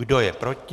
Kdo je proti?